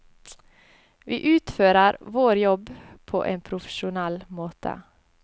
Vi utfører vår jobb på en profesjonell måte.